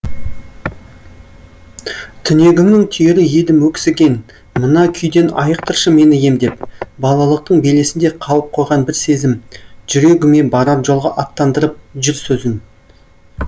түнегіңнің түйірі едім өксіген мына күйден айықтыршы мені емдеп балалықтың белесінде қалып қойған бір сезім жүрегіме барар жолға аттандырып жүр сөзін